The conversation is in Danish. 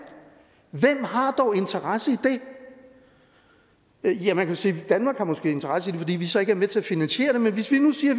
hvem har dog interesse i det ja man kan sige at danmark måske har interesse i det fordi vi så ikke er med til at finansiere det men hvis vi nu siger